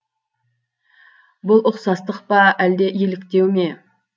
бұл ұқсастық па әлде еліктеу ме